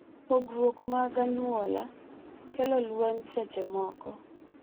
Pogruok mag anyuola nyalo kelo lweny seche moko